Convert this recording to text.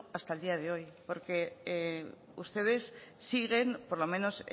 hasta el día de hoy porque ustedes siguen por lo menos